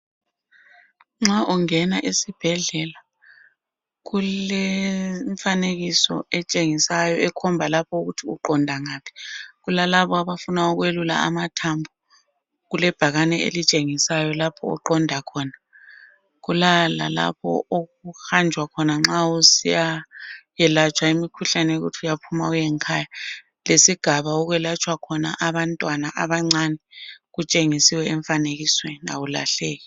Nxa ungena esibhedlela, kulemifanekiso etshengisayo. Ekhomba lapho ukuthi uqonda ngaphi. Kulalabo abafuna, ukwelula amathambo, kulebhakane ĺelitshengisayo lapho oqonda khona. Kulalabo okuhanjwa khona nxa usiyakwelatshwa imikhuhlane, yokuthi uyaphuma uye ngekhaya. .Lesigaba okwelatshwa khona abantwana abancane .Kutshengisiwe emfanekisweni. Kawulahleki